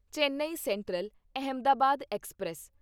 Chennai central Ahmedabad express